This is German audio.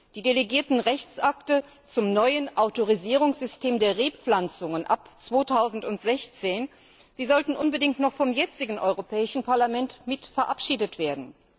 Die delegierten Rechtsakte zum neuen Autorisierungssystem der Rebpflanzungen ab 2016 sollten unbedingt noch vom jetzigen Europäischen Parlament mit verabschiedet werden.